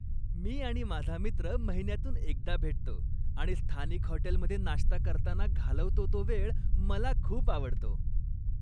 मी आणि माझा मित्र महिन्यातून एकदा भेटतो आणि स्थानिक हॉटेलमध्ये नाश्ता करताना घालवतो तो वेळ मला खूप आवडतो.